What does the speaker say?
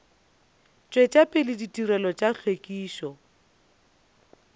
tšwetša pele ditirelo tša hlwekišo